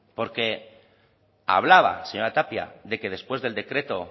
porque hablaba la señora tapia de que después del decreto